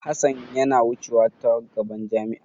Hassan yana wucew ta gaban jami'a.